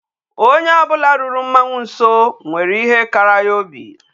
Onye o bula ruru mmanwu nso nwere ihe kara ya obi.